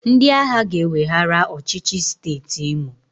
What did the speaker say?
Ndị agha ga-eweghara ọchịchị siteeti Imo.